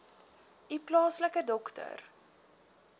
u plaaslike dokter